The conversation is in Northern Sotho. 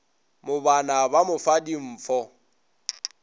mobana ba mo fa dimfo